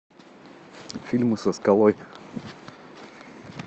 фильмы со скалой